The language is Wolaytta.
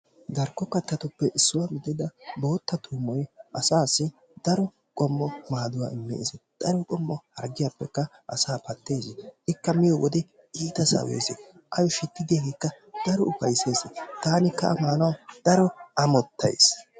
darkko kattatuppe issuwaa gidida bootta tuummoy asaasi daaro qommo maaduwaa immees. xaallidikka hargiyaappe asaa pattees. ikka miyiyoo daro sawees. awu shiti diyiyaagekka daro ufayssees. taanikka a maanawu daro amottaayis.